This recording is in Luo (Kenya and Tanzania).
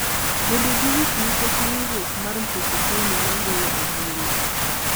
bedo gi wich nikech riwruok mar Mpeketoni ma goyo ombulu.